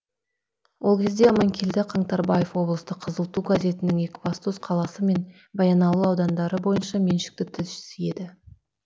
ол кезде аманкелді қаңтарбаев облыстық қызыл ту газетінің екібастұз қаласы мен баянауыл аудандары бойынша меншікті тілшісі еді